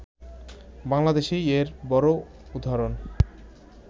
বাংলাদেশেই এর বড় উদাহারণ